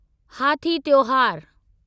हाथी त्योहार